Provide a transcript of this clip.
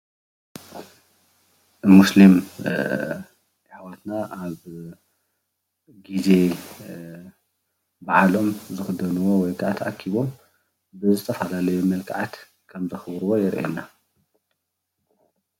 ሙስሊም ኣሕዋትና ኣብ ግዜ በዓሎም ብሓደ ተኣኪቦም ብዝተፈላለየ መልኽዓት ከም ዘኽብርዎ የርእየና።